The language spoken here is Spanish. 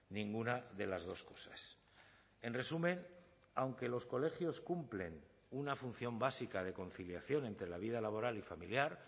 ninguna de las dos cosas en resumen aunque los colegios cumplen una función básica de conciliación entre la vida laboral y familiar